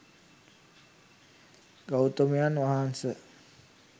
ගෞතමයන් වහන්ස,